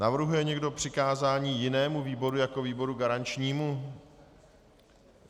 Navrhuje někdo přikázání jinému výboru jako výboru garančnímu?